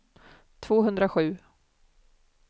tvåhundrasju